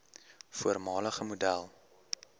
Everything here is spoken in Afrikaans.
voormalige model